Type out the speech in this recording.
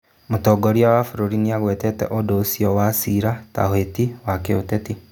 Mũtongoria wa bũrũri nĩagwetete ũndũ ũcio wa ciira ta ũhĩti wa kĩũteti